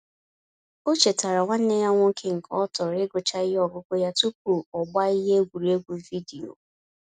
O chetaara nwanne ya nwoke nke ọ tọro igucha ihe ọgụgụ ya tupu ọgbaa ihe egwuregwu vidiyo.